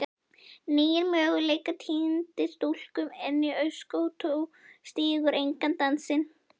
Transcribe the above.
nýir möguleikar týndir stúlkan enn í öskustó stígur engan dansinn